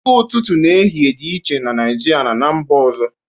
Oge ụtụtụ na ehihie dị iche na Naịjirịa na ná mba ọzọ